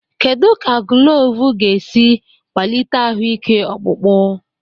Kedu ka gulovo ga-esi kwalite ahụike ọkpụkpụ?